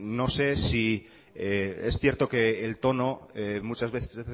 no sé si es cierto que el tono muchas veces